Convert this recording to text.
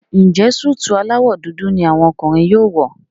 Njé Súìtì alawọ dúdú ní àwọn ọkùnrin yóò wọ?